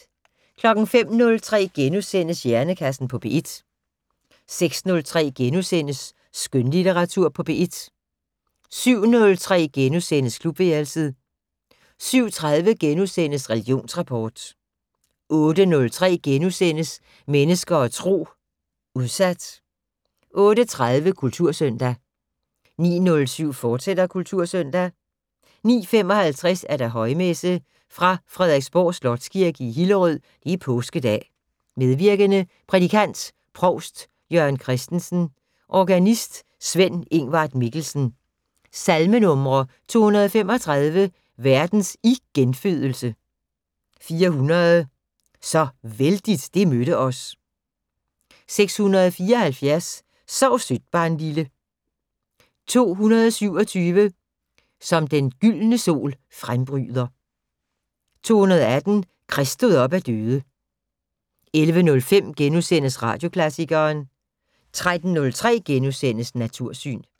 05:03: Hjernekassen på P1 * 06:03: Skønlitteratur på P1 * 07:03: Klubværelset * 07:30: Religionsrapport * 08:03: Mennesker og Tro: Udsat * 08:30: Kultursøndag 09:07: Kultursøndag, fortsat 09:55: Højmesse - Fra Frederiksborg Slotskirke, Hillerød. Påskedag. Medvirkende: Prædikant: provst Jørgen Christensen. Organist: Sven-Ingvart Mikkelsen. Salmenumre: 235: "Verdens igenfødelse". 400: "Så vældigt det mødte os". 674: "Sov sødt, barnlille". 227: "Som den gyldne sol frembryder". 218: "Krist stod op af døde". 11:05: Radioklassikeren * 13:03: Natursyn *